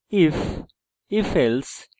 if ifelse